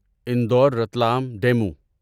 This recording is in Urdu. انڈور رتلام ڈیمو